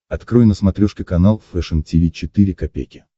открой на смотрешке канал фэшн ти ви четыре ка